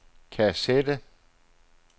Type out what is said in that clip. kassette